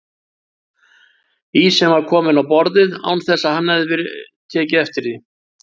Ísinn var kominn á borðið án þess að hann hefði tekið eftir því.